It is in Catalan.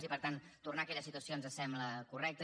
i per tant tornar a aquella situació ens sembla correcte